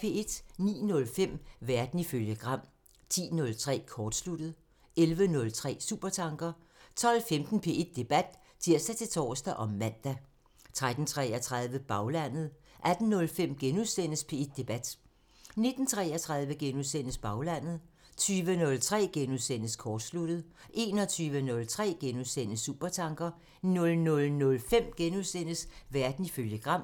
09:05: Verden ifølge Gram (tir) 10:03: Kortsluttet (tir) 11:03: Supertanker (tir) 12:15: P1 Debat (tir-tor og man) 13:33: Baglandet (tir) 18:05: P1 Debat *(tir-tor) 19:33: Baglandet *(tir) 20:03: Kortsluttet *(tir) 21:03: Supertanker *(tir) 00:05: Verden ifølge Gram *(tir)